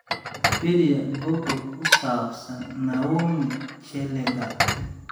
wikipedia bogga ku saabsan naomi chelagat